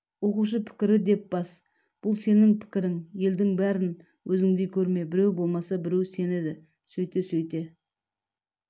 оқушы пікірі деп бас бұл сенің пікірің елдің бәрін өзіңдей көрме біреу болмаса біреу сенеді сөйте-сөйте